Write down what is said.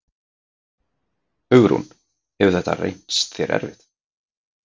Hugrún: Hefur þetta reynst þér erfitt?